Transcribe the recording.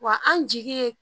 Wa an jigi ye